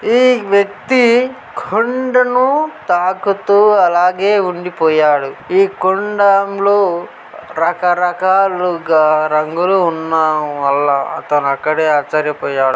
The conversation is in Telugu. ఈ వ్యక్తి కొండను తాకుతూ అలాగే ఉండిపోయాడు ఈ కొండం లో రకరకాలుగా రంగులు ఉన్నా వల్ల అతను అక్కడే ఆశ్చర్యపోయాడు